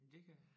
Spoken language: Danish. Det kan